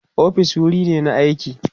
ofis wuri ne na aiki